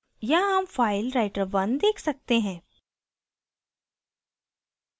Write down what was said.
यहाँ हम file writer1 देख सकते हैं